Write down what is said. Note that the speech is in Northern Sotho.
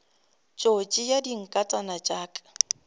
tšo tšea dinkatana tša ka